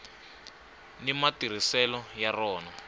ni matirhiselo ya rona